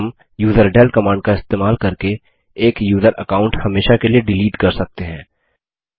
हम userdel command का इस्तेमाल करके एक यूज़र अकाउंट हमेशा के लिए डिलीट कर सकते हैं